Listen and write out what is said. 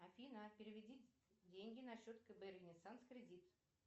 афина переведи деньги на счет кб ренессанс кредит